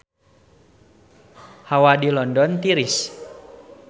Hawa di London tiris